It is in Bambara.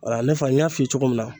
Wala ne fana n y'a f'i ye cogo min na